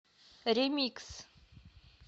ремикс